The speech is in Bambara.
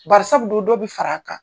Barisabu do do bi far'a kan.